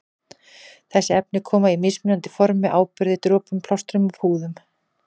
Þessi efni koma í mismunandi formi- áburði, dropum, plástrum og púðum.